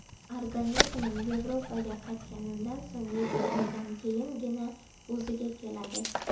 Organizmim Yevropaga qaytganimdan so‘ng yetti oydan keyingina o‘ziga keladi.